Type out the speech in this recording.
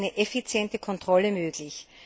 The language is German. Nur so ist eine effiziente Kontrolle möglich.